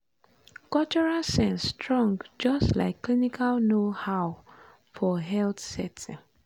cultural sense strong just like clinical know-how for health setting.